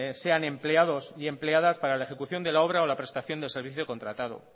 sean empleados y empleadas para la ejecución de la obra o la prestación del servicio contratado